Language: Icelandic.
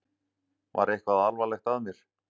Var eitthvað alvarlegt að mér?